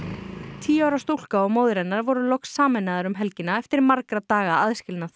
tíu ára stúlka og móðir hennar voru loks sameinaðar um helgina eftir margra daga aðskilnað